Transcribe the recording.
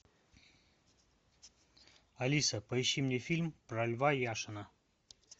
алиса поищи мне фильм про льва яшина